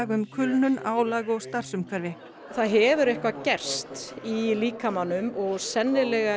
um kulnun álag og starfsumhverfi í það hefur eitthvað gerst í líkamanum og sennilega